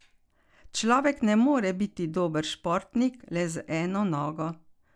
Človek ne more biti dober športnik le z eno nogo.